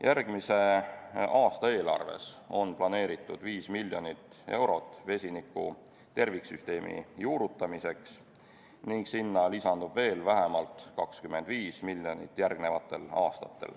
Järgmise aasta eelarves on planeeritud 5 miljonit eurot vesiniku terviksüsteemi juurutamiseks ning sinna lisandub veel vähemalt 25 miljonit järgnevatel aastatel.